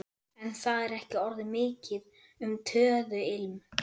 En það er ekki orðið mikið um töðuilm.